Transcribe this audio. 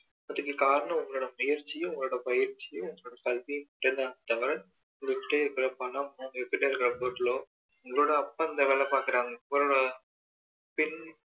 அதுக்கு காரணம் உங்களோட முயற்சி உங்களோட பயிற்சி உங்க கல்வி மட்டும் தான் தவர உங்க கிட்ட இருக்க பணம் உங்ககிட்ட இருக்க பொருளோ உங்களோட அப்பா இந்த வேலை பார்க்கிறாங்க உங்க பின்